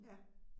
Ja